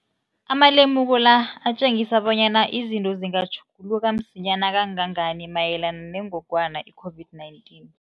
Amalemuko la atjengisa bonyana izinto zingatjhuguluka msinyana kangangani mayelana nengogwana i-COVID-19.